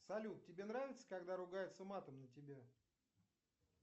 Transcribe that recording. салют тебе нравится когда ругаются матом на тебя